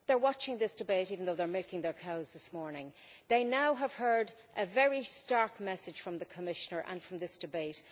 They are watching this debate even though they are milking their cows this morning. They now have heard a very stark message from the Commissioner and from this debate.